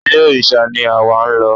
Ilé òrìṣà ni àwa ń lọ.